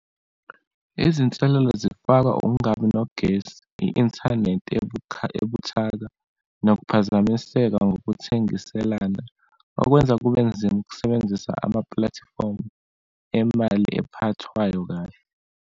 Izinselelo zifaka ungabi nogesi, i-inthanethi ebuthaka, nokuphazamiseka ngokuthengiselana, okwenza kube nzima ukusebenzisa amapulatifomu emali ephathekayo kahle.